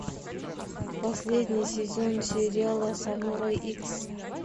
последний сезон сериала самурай икс